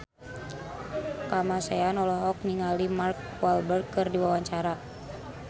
Kamasean olohok ningali Mark Walberg keur diwawancara